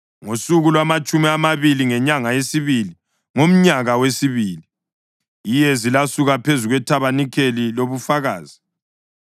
Ngosuku lwamatshumi amabili ngenyanga yesibili ngomnyaka wesibili, iyezi lasuka phezu kweThabanikeli lobuFakazi.